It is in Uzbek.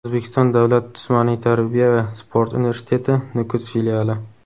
O‘zbekiston davlat jismoniy tarbiya va sport universiteti Nukus filiali;.